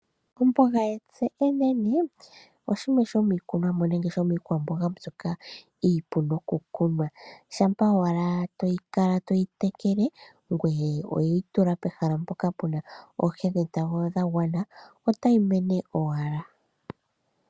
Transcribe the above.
Omboga oshimwe shomiikwamboga nenge iikunomwa mbyoka hayi vulu okukunwa, shampa ashike to kala toyi tekele ngoye oweyi tula pehala mpoka tayi kala tayi mono oonte dhetango dhagwana nawa.